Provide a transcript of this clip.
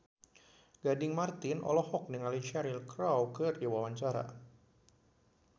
Gading Marten olohok ningali Cheryl Crow keur diwawancara